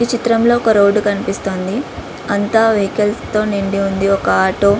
చిత్రంలో ఒక రోడ్డు కనిపిస్తోంది. .అంత వెహికల్స్ తో నిండి ఉంది. ఒక ఆటో --